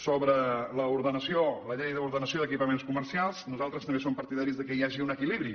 sobre l’ordenació la llei d’ordenació d’equipaments comercials nosaltres també som partidaris que hi hagi un equilibri